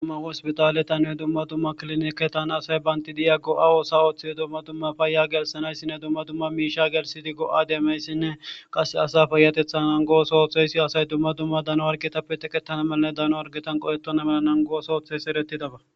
dumma hospitaletanne dumma dumma klinike tana asay baynti di7ya go7a oosa ooththide dumma dumma fayya gelsanayssinne dumma dumma miisha gelsidi go7a deemayssinne qase asa fayatethan nangoos ooththeysi asay dumma dumma dano wargetappe teqettana malane dano argetan qoyetona mela nangoos ooththeys eretidaba